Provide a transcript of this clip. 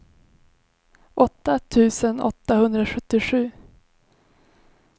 åtta tusen åttahundrasjuttiosju